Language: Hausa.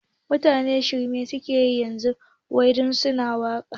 Mutane shirme dai suke yi yanzu wai da sunan ana waƙa